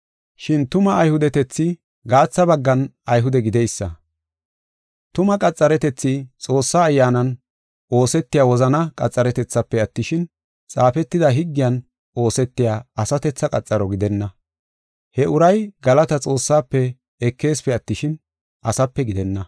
Shin tuma Ayhudetethi gaatha baggan Ayhude gideysa. Tuma qaxaretethi Xoossaa Ayyaanan oosetiya wozana qaxaretethafe attishin, xaafetida higgiyan oosetiya asatethaa qaxaro gidenna. He uray galataa Xoossafe ekeesipe attishin, asape gidenna.